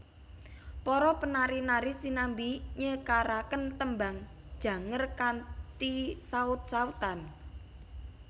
Para penari nari sinambi nyekaraken Tembang Janger kanthi saut sautan